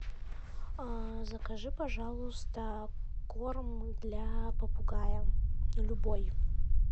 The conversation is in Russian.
закажи пожалуйста корм для попугая любой